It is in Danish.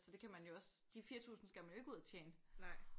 Så det kan man jo også de 4000 kroner skal man jo ikke ud og tjene